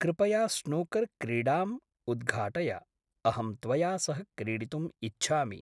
कृपया स्नूकर् क्रीडाम् उद्घाटय, अहं त्वया सह क्रीडितुम् इच्छामि।